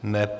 Není.